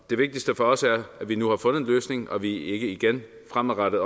det vigtigste for os er at vi nu har fundet en løsning og at vi ikke igen fremadrettet